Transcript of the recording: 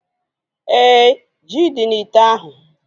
Éè, ji dị n'ite ahu